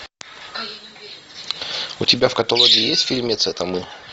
у тебя в каталоге есть фильмец это мы